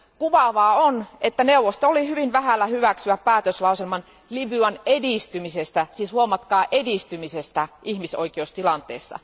Kuvaavaa on, että neuvosto oli hyvin vähällä hyväksyä päätöslauselman Libyan edistymisestä, siis huomatkaa edistymisestä, ihmisoikeustilanteessa.